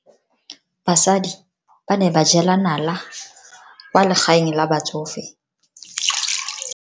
Basadi ba ne ba jela nala kwaa legaeng la batsofe.